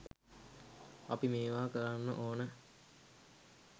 අපි මේවා කරන්න ඕන